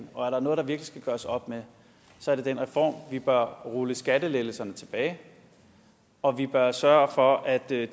og er der noget der virkelig skal gøres op med så er det den reform vi bør rulle skattelettelserne tilbage og vi bør sørge for at der i